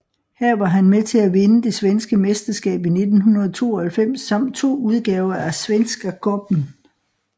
Her var han med til at vinde det svenske mesterskab i 1992 samt to udgaver af Svenska Cupen